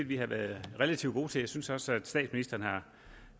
vi har været relativt gode til at synes også at statsministeren